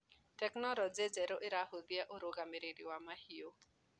Tekinologĩ njerũ ĩrahũthia ũrũgamĩrĩri wa mahiũ.